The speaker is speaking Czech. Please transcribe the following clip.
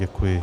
Děkuji.